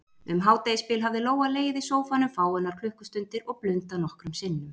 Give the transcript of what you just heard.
Um hádegisbil hafði Lóa legið í sófanum fáeinar klukkustundir og blundað nokkrum sinnum.